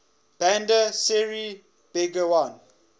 bandar seri begawan